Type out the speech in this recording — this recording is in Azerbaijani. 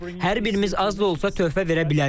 Hər birimiz az da olsa töhfə verə bilərik.